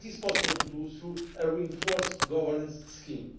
budget. This is possible to do through a reinforced governance